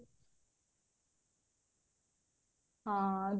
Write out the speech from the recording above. ହଁ